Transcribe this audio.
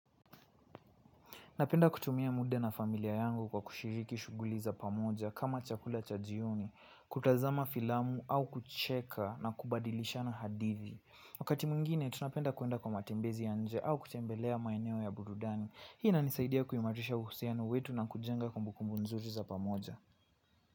Napenda kutumia muda na familia yangu kwa kushiriki shughuli za pamoja kama kula chakula cha jioni, kutazama filamu au kucheka na kubadilishana hadithi. Wakati mwingine tunapenda kwenda kwa matembezi ya nje au kutembelea maeneo ya burudani. Hii inanisaidia kuimarisha uhusiano wetu na kujenga kumbukumbu nzuri za pamoja.